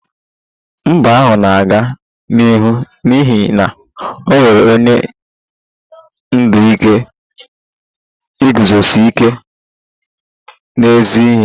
Mba ahụ na-aga n'ihu n'ihi na o nwere onye ndu nke iguzosi ike n'ezi ihe